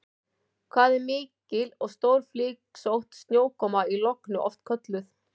Hvað er mikil og stórflygsótt snjókoma í logni oft kölluð?